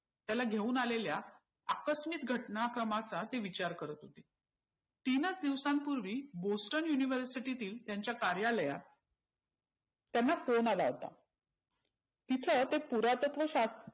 त्याला घेऊन आलेल्या आकस्मित घटनाक्रमांचा ते विचार करत होते. तीनच दिवसांपुर्वी bostone university तील त्यांच्या कार्यलयात त्यांना phone आला होता. तिथंंते पुरातत्व शा